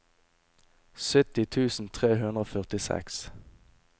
sytti tusen tre hundre og førtiseks